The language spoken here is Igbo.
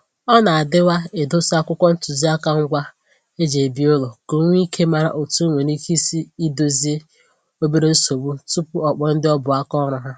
Ọ na-adịwa edosa akwụkwọ ntụziaka ngwa e ji ebi ụlọ ka o nwee íké mara otu o nwere ike isi Ịdòzie obere nsogbu tupu o kpọọ ndị ọ bụ aka ọrụ ha